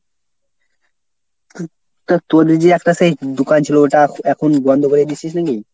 তা তোদের যে একটা সেই দোকান ছিল ওটা এখন বন্ধ করে দিছিস নাকি?